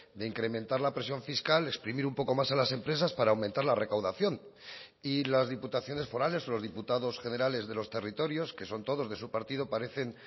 de incrementar la presión fiscal exprimir un poco más a las empresas para aumentar la recaudación y las diputaciones forales los diputados generales de los territorios que son todos de su partido parecen